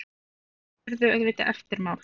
Það urðu auðvitað eftirmál.